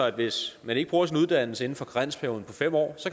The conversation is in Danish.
at hvis man ikke bruger sin uddannelse inden for karensperioden på fem år så